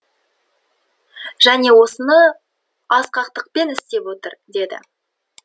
және осыны асқақтықпен істеп отыр деді